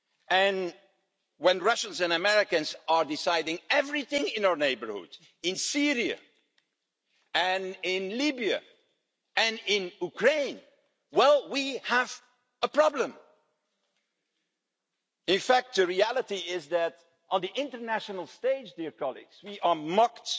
And when Russians and Americans are deciding everything in our neighbourhood in Syria and in Libya and in Ukraine well, we have a problem. In fact, the reality is that, on the international stage, we are mocked